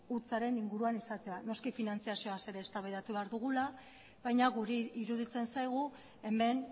hutsaren inguruan izatea noski finantziazioaz ere eztabaidatu behar dugula baina guri iruditzen zaigu hemen